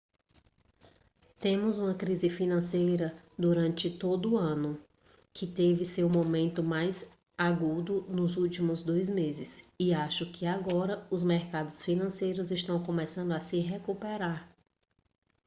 temos uma crise financeira durante todo o ano que teve seu momento mais agudo nos últimos dois meses e acho que agora os mercados financeiros estão começando a se recuperar